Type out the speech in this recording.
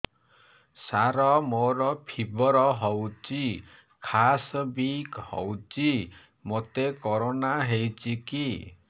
ସାର ମୋର ଫିବର ହଉଚି ଖାସ ବି ହଉଚି ମୋତେ କରୋନା ହେଇଚି କି